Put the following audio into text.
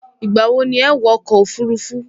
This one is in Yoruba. Ìgbà wo ni ẹ wọ ọkọ̀ òfurufú??